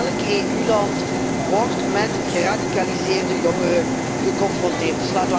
Elk EU land wordt met geradicaliseerde jongeren geconfronteerd.